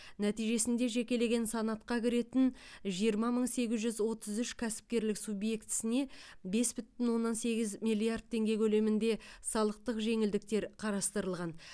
нәтижесінде жекелеген санатқа кіретін жиырма мың сегіз жүз отыз үш кәсіпкерлік субъектісіне бес бүтін оннан сегіз миллиард теңге көлемінде салықтық жеңілдіктер қарастырылған